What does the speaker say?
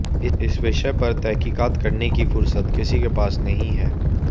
इस विषय पर तहकीकात करने की फुर्सत किसी के पास नहीं है